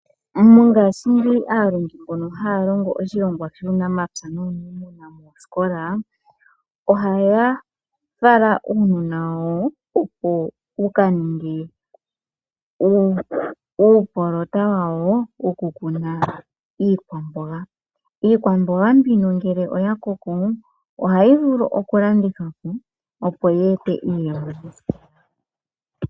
Mongaashingeyi aalongi mbono haya longo oshilongwa shuunamapya nuuniimuna moosikola, ohaya fala uunona wawo opo wukaninge uukunino wawo wiikwamboga. Iikwamboga mbino ngele yakoko ,ohayi vulu okulandithwapo opo yeete iiyemo.